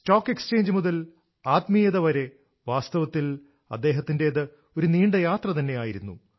stock exchange മുതൽ ആത്മീയത വരെ വാസ്തവത്തിൽ അദ്ദേഹത്തിന്റേത് ഒരു നീണ്ട യാത്ര തന്നെ ആയിരുന്നു